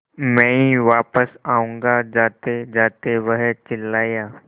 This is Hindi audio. मैं वापस आऊँगा जातेजाते वह चिल्लाया